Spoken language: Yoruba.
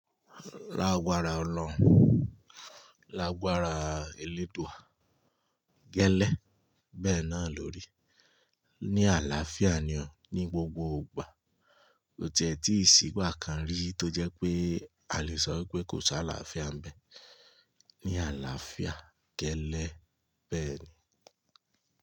Lágbára Olọrun, lágbára eléèdúà, gẹ́lẹ́ bẹ́ẹ̀ náà lórí. Ni àlàáfíà ni ọ, ní gbogbo ìgbà. kÓ ti ẹ̀ tì sí ìgbà kan rí tó jẹ́ pé a lè sọ wi pé kò si àlàáfíà n bẹ́ẹ̀. Ni àlàáfíà gẹ́lẹ́ bẹ́ẹ̀ ni.